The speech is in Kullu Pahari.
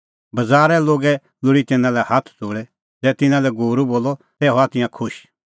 बज़ारै लोल़ी लोगै तिन्नां लै हाथ ज़ोल़ै ज़ै तिन्नां लै गूरू बोलअ तै हआ तिंयां खुश